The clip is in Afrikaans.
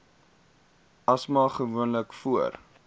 asma gewoonlik voor